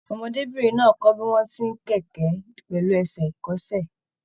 Ọmọdébinrin náà kọ bí wọn tí n kẹkẹ pẹlu ẹsẹ ikọ́sẹ̀.